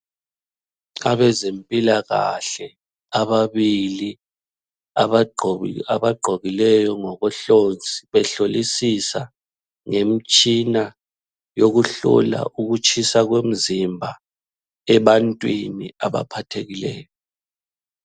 Abezempilakahle ababili abagqokileyo ngokohlonzi behlolisisa ngemtshina yokuhlola ukutshisa komzimba ebantwini abaphathekileyo.